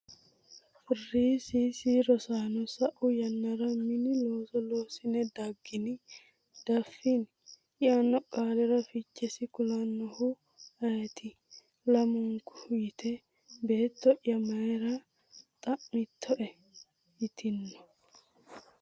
Rss: Rosaano sa’u yannaha mini looso loossine daggini? “Diaffini?” yaanno qaalira fichesi kulannoehu ayeeti? Lamunku yite, “Beetto’ya mayra xa’mittae?” yitanno.